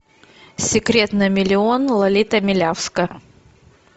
секрет на миллион лолита милявская